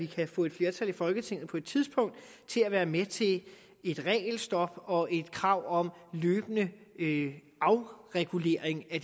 kan få et flertal i folketinget til at være med til et regelstop og et krav om løbende afregulering af